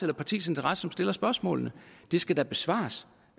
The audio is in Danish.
det partis interesse som stiller spørgsmålene det skal da besvares